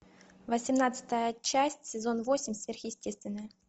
восемнадцатая часть сезон восемь сверхъестественное